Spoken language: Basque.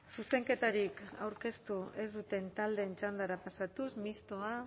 zuzenketarik aurkeztu ez duten taldeen txandara pasatuz mistoa